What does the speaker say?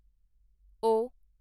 ਓ